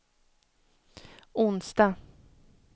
onsdag